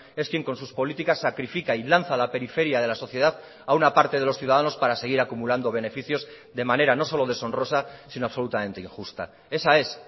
es quien con sus políticas sacrifica y lanza a la periferia de la sociedad a una parte de los ciudadanos para seguir acumulando beneficios de manera no solo deshonrosa sino absolutamente injusta esa es